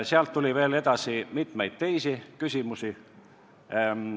" Sealt edasi tuli veel mitmeid teisi küsimusi.